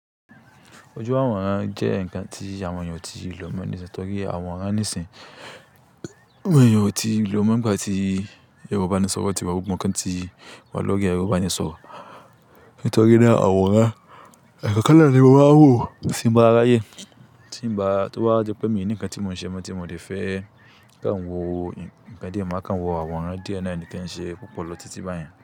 Ojú àwòrán jẹ́ ǹkan tí àwọn èèyàn ti lò mọ́ ní ìsìn. Torí àwòrán ní ìsìn, àwọn èèyàn ti lò mọ́ nígba tí ẹrọ ibanisọ̀rọ̀ tí wọ́n gbọ́ ǹkan tí wọ́n lọ́ri ewu ibanisọ̀rọ̀. Torí dá àwòrán, ẹ̀kọ̀kan náà ni mo máa ń wò. Tí ń bá ráyè tó bá jẹ́ pé mi ni ǹkan tí mò ń ṣe mọ́ tí mò dẹ̀ fẹ́ ká ń wò ǹkan díẹ̀, màá ká ń wò àwòrán diẹ náà ni kí ń ṣe púpọ̀ lọ títí báyẹn.